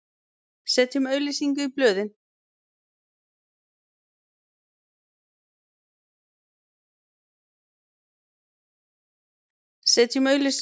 Setjum auglýsingu í blöðin!